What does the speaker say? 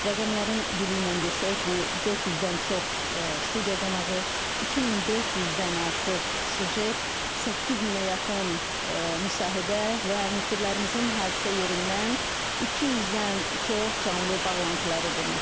Rəqəmlərin dili ilə desək, bu 400-dən çox studiya qonağı, 2400-dən artıq süjet, 8000-ə yaxın müsahibə və müxbirlərimizin hadisə yerindən 200-dən çox canlı bağlantıları deməkdir.